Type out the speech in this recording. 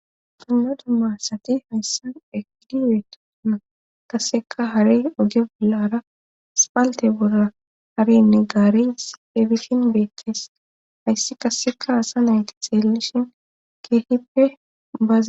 una dummassati hayssan efidiweetona kaseka hare oge bulaara spaalte bura harenne gaaris ebitin beettees hayssi kasseka hasa nayti xeellishin keehippe baaza